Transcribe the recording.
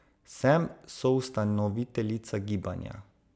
Sem soustanoviteljica gibanja.